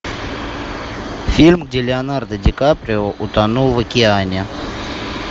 фильм где леонардо ди каприо утонул в океане